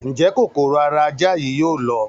Ǹ jẹ́ kòkòrò ara ajá yìí yóò lọ?